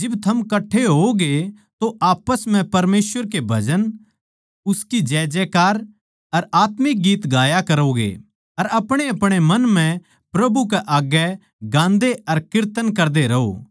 जिब थम कठ्ठे होओगे तो आप्पस म्ह परमेसवर के भजन उसकी जैजै कार अर आत्मिक गीत गाया करोगे अर अपणेअपणे मन म्ह प्रभु के आग्गै गाते अर कीर्तन करदे रहो